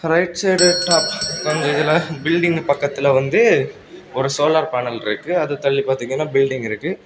Right side top அந்த இதுல building பக்கத்துல வந்து ஒரு சோலார் பேனல் இருக்கு அது தள்ளி பாத்தீங்கன்னா பில்டிங் இருக்கு.